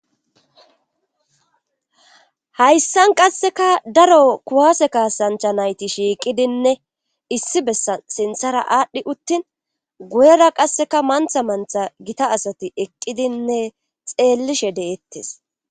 hayssan qasseka daro kuwase kaasancha nayti shiiqidinne issi bessa sinthara aadhdhi uttin guyera qasseka mantha mantha gita asati eqqidinne xeellishe deettes.